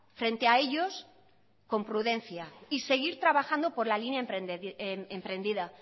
frente a ellos con prudencia y seguir trabajando por la línea emprendida